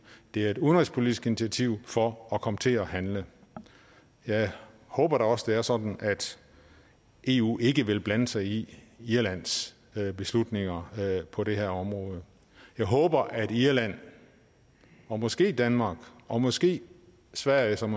det er et udenrigspolitisk initiativ for at komme til at handle jeg håber da også at det er sådan at eu ikke ville blande sig i irlands beslutninger på det her område jeg håber at irland og måske danmark og måske sverige som